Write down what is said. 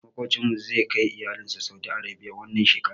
Maƙocinmu zai kai iyalinsa saudi Arabia wannan shekarar.